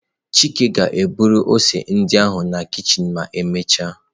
Chike ga-eburu ose ndị ahụ na kichin emechaa.